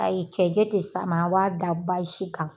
Ayi cɛncɛn tɛ s'e ma, an b'a da kan.